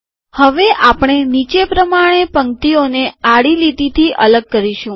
હવે આપણે નીચે પ્રમાણે પંક્તિઓને આડી લીટીથી અલગ કરીશું